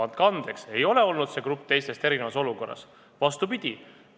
Andke andeks, ei ole olnud see grupp teistest erinevas olukorras!